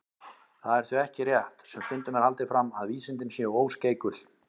Það er því ekki rétt, sem stundum er haldið fram, að vísindin séu óskeikul.